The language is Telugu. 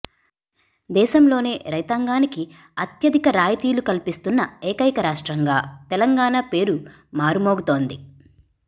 దేశంలోనే రైతాంగానికి అత్యధిక రాయితీలు కల్పిస్తున్న ఏకైక రాష్ట్రంగా తెలంగాణ పేరు మారుమోగుతోంది